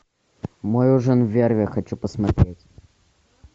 мой ужин с эрве хочу посмотреть